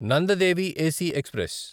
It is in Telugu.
Nanda Devi AC express